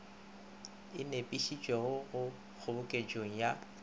e nepišitšwego mo kgoboketšong ya